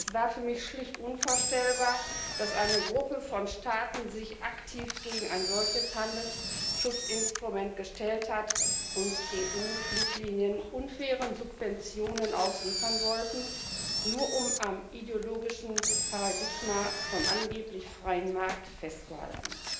Es war für mich schlicht unvorstellbar, dass eine Gruppe von Staaten sich aktiv gegen ein solches Handelsschutzinstrument gestellt hat und EU Fluglinien unfairen Subventionen ausliefern wollte, nur um am ideologischen Paradigma vom angeblich freien Markt festzuhalten.